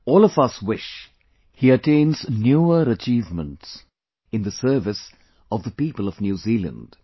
All of us wish he attains newer achievements in the service of the people of New Zealand